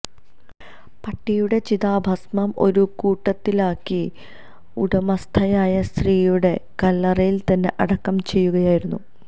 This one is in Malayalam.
പട്ടിയുടെ ചിതാഭസ്മം ഒരു കുടത്തിലാക്കി ഉടമസ്ഥയായ സ്ത്രീയുടെ കല്ലറയില് തന്നെ അടക്കം ചെയ്യുകയായിരുന്നു